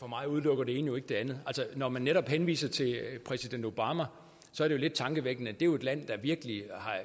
mig udelukker det ene jo ikke det andet når man netop henviser til præsident obama er det lidt tankevækkende er jo et land der virkelig har